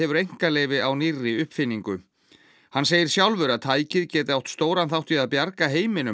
einkaleyfi á nýrri uppfinningu hann segir sjálfur að tækið geti átt stóran þátt í að bjarga heiminum